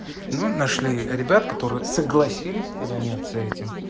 ну нашли ребят которые согласились заняться этим